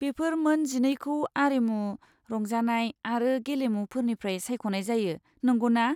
बेफोर मोन जिनैखौ आरिमु, रंजानाय आरो गेलेमुफोरनिफ्राय सायख'नाय जायो, नंगौना?